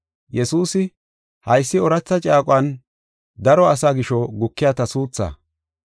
Yesuusi, “Haysi ooratha caaquwan daro asaa gisho gukiya ta suutha.